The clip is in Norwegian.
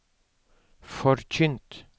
forkynt